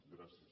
gràcies